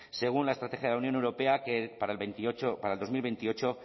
según la estrategia de la unión europea que para dos mil veintiocho